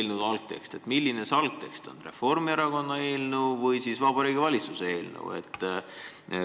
Mida te selle algteksti all silmas pidasite: kas Reformierakonna eelnõu või Vabariigi Valitsuse eelnõu?